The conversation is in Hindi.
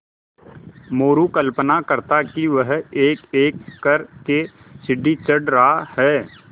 मोरू कल्पना करता कि वह एकएक कर के सीढ़ी चढ़ रहा है